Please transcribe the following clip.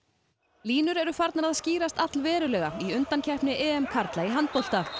línur eru farnir að skýrast allverulega í undankeppni karla í handbolta